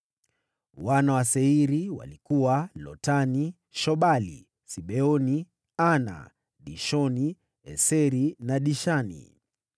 Wana wa Seiri walikuwa: Lotani, Shobali, Sibeoni, Ana, Dishoni, Eseri na Dishani.